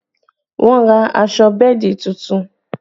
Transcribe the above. Wọn ra aṣọ bẹ́ẹ̀dì tuntun